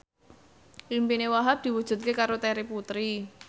impine Wahhab diwujudke karo Terry Putri